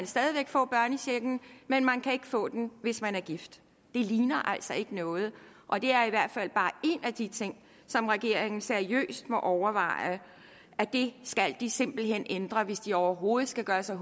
stadig væk få børnechecken men man kan ikke få den hvis man er gift det ligner altså ikke noget og det er i hvert fald bare en af de ting som regeringen seriøst må overveje det skal de simpelt hen ændre hvis de overhovedet skal gøre sig